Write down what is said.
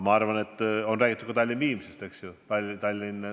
Jah, on räägitud ka Tallinna–Viimsi liinist, eks ole.